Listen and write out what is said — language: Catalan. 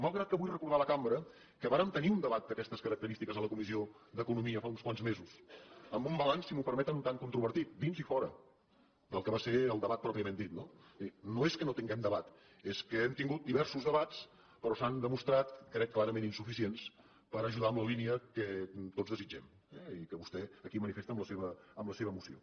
malgrat que vull recordar a la cambra que vàrem tenir un debat d’aquestes característiques a la comissió d’economia fa uns quants mesos amb un balanç si m’ho perme·ten un tant controvertit dins i fora del que va ser el debat pròpiament dit no és a dir no és que no tin·guem debat és que hem tingut diversos debats però s’han demostrat ho crec clarament insuficients per ajudar en la línia que tots desitgem eh i que vostè aquí manifesta amb la seva moció